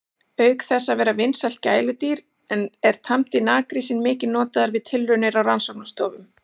Auk þess að vera vinsælt gæludýr er tamdi naggrísinn mikið notaður við tilraunir á rannsóknastofum.